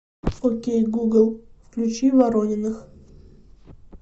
окей гугл включи ворониных